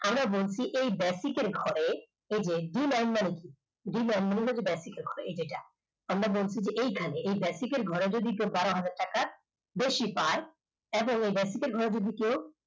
আমরা বলছি এই basic র ঘরে এই যে basic র ঘরে এই যে এটা আমরা বলছি যে এইখানে এই basic র ঘরে দশ থেকে বারোহাজার টাকার বেশি পায় এবার এই basic র ঘরে যদি কেউ